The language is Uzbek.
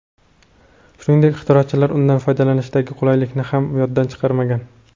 Shuningdek, ixtirochilar undan foydalanishdagi qulaylikni ham yoddan chiqarmagan.